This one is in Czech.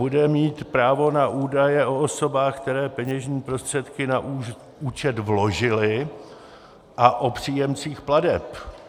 Bude mít právo na údaje o osobách, které peněžní prostředky na účet vložily, a o příjemcích plateb.